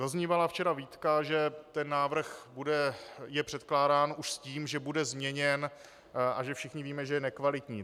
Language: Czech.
Zaznívala včera výtka, že ten návrh je předkládán už s tím, že bude změněn, a že všichni víme, že je nekvalitní.